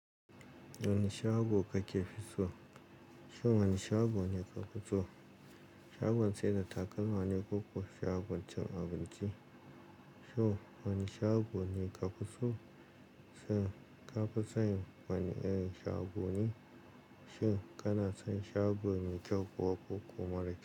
Wani shago kake fi so? Shin wane shago ne fi so? Shagon sai da takalman ne ko kuwa shagon cin abinci? Shin wani shago ne ka fi so? Shin ka fi son wane irin shago ne? Shin kana son shago me kyau ko-ko mara kyau?